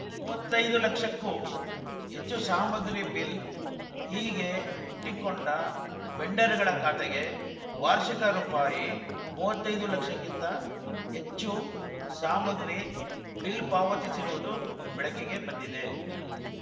ಮೂವತ್ತೈದು ಲಕ್ಷಕ್ಕೂ ಹೆಚ್ಚು ಸಾಮಗ್ರಿ ಬಿಲ್‌ ಹೀಗೆ ವುಟ್ಟಿಕೊಂಡ ವೆಂಡರ್‌ಗಳ ಖಾತೆಗೆ ವಾರ್ಷಿಕ ರುಪಾಯಿ ಮೂವತ್ತೈದು ಲಕ್ಷಕ್ಕಿಂತ ಹೆಚ್ಚು ಸಾಮಗ್ರಿ ಬಿಲ್‌ ಪಾವತಿಸಿರುವುದು ಬೆಳಕಿಗೆ ಬಂದಿದೆ